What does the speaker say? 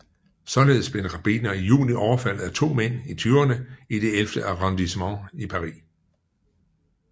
Således blev en rabbiner i juni overfaldet af to mænd i tyverne i det ellevte arrondissement i Paris